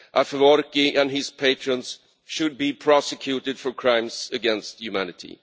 and Afwerki and his patrons should be prosecuted for crimes against humanity.